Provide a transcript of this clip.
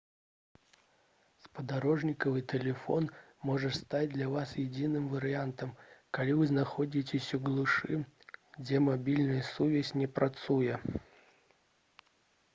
спадарожнікавы тэлефон можа стаць для вас адзіным варыянтам калі вы знаходзіцеся ў глушы дзе мабільная сувязь не працуе